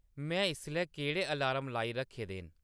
में इसलै केह्‌ड़े अलार्म लाई रक्खे दे न